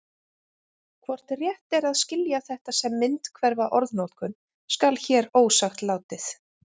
hvort rétt er að skilja þetta sem myndhverfa orðnotkun skal hér ósagt látið